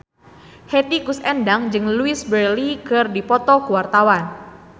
Hetty Koes Endang jeung Louise Brealey keur dipoto ku wartawan